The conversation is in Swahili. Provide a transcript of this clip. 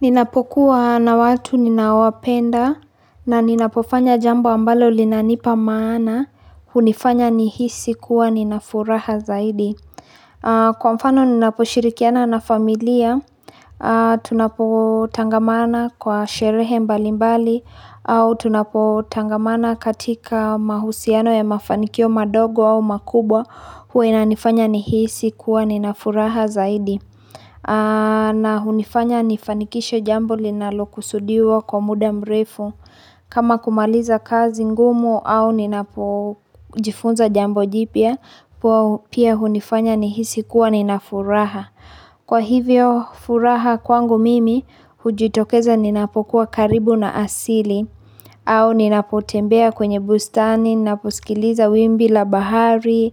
Ninapokuwa na watu ninawapenda na ninapofanya jambo ambalo linanipa maana hunifanya nihisi kuwa ninafuraha zaidi. Kwa mfano ninaposhirikiana na familia, tunapotangamana kwa sherehe mbalimbali au tunapotangamana katika mahusiano ya mafanikio madogo au makubwa huwa inanifanya nihisi kuwa nina furaha zaidi. Na hunifanya nifanikishe jambo linalokusudiwa kwa muda mrefu. Kama kumaliza kazi ngumu au ninapojifunza jambo jipya, pia hunifanya nihisi kuwa nina furaha. Kwa hivyo furaha kwangu mimi, hujitokeza ninapokuwa karibu na asili au ninapotembea kwenye bustani, ninaposikiliza wimbi la bahari,